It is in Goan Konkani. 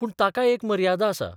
पूण ताकाय एक मर्यादा आसा.